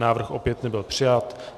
Návrh opět nebyl přijat.